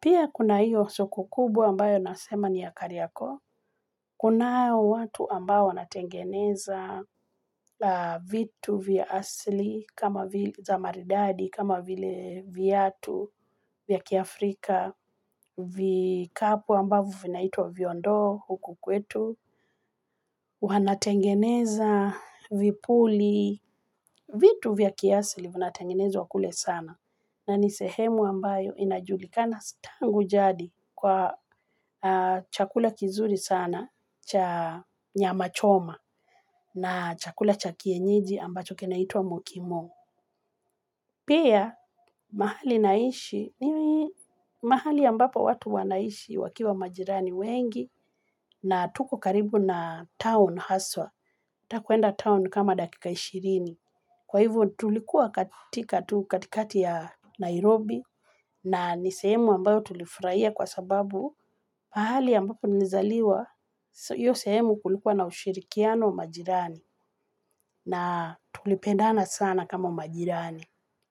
Pia kuna hiyo soko kubaa ambayo nasema ni ya Kariakoo. Kunao watu ambao wanatengeneza vitu vya asili, kama za maridadi, kama vile viatu, vya kiafrika, vikapu ambavyo vinaitwa viondo huku kwetu wanatengeneza vipuli vitu vya kiasili vinatengenezwa kule sana na ni sehemu ambayo inajulikana tangu jadi kwa chakula kizuri sana cha nyama choma na chakula cha kienyeji ambacho kinaitwa mukimo pia mahali naishi ni mahali ambapo watu wanaishi wakiwa majirani wengi na tuko karibu na town haswa. Ukitaka kwenda town ni kama dakika ishirini. Kwa hivyo tulikuwa katika tu katikati ya Nairobi na ni sehemu ambayo tulifurahia kwa sababu mahali ambapo nilizaliwa hiyo sehemu kulikuwa na ushirikiano majirani na tulipendana sana kama majirani.